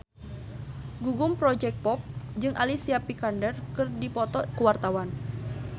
Gugum Project Pop jeung Alicia Vikander keur dipoto ku wartawan